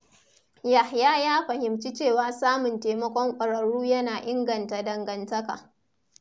Yahaya ya fahimci cewa samun taimakon ƙwararru yana inganta dangantaka.